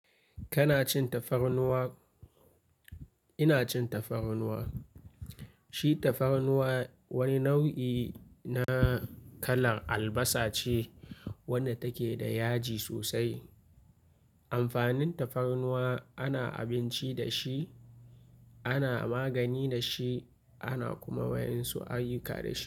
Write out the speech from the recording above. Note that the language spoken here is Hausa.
Kana cin tafarnuwa? Ina cin tafarnuwa. Shi tafarnuwa wani nau'i na kalar albasa ce, wadda take da yaji sosai. Amfanin tafarnuwa ana abinci da shi, ana magani da shi ana kuma wa ƴan su ayyuka da shi.